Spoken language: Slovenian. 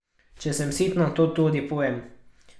Če sem sitna, to tudi povem.